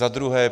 Za druhé.